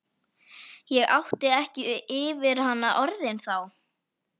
Ég átti ekki yfir hana orðin þá.